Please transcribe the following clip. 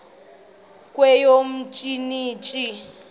kweyomntsintsi